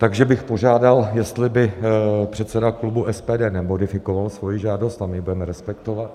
Takže bych požádal, jestli by předseda klubu SPD nemodifikoval svoji žádost, a my ji budeme respektovat.